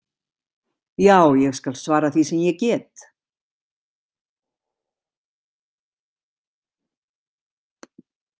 Já, ég skal svara því sem ég get.